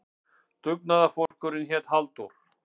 Dugnaðarforkurinn hét Halldór.